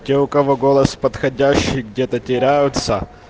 те у кого голос подходящий где-то теряются